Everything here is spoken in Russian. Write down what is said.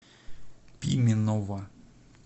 пименова